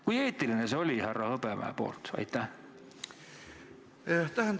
Kui eetiline see härra Hõbemäest oli?